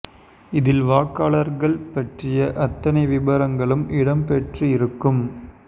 இதில் வாக்காளர்கள் பற்றிய அத்தனை விபரங்களும் இடம் பெற்று இருக்கும்